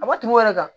A ma tɛmɛ o yɛrɛ kan